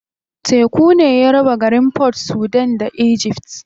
Teku ne ya raba garin Port Sudan da Egypt.